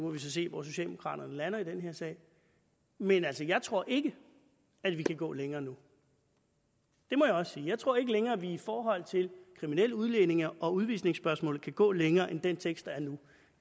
vi så se hvor socialdemokraterne lander i den her sag men jeg tror ikke at vi kan gå længere nu det må jeg også sige jeg tror ikke længere at vi i forhold til kriminelle udlændinge og udvisningsspørgsmålet kan gå længere end den tekst der er nu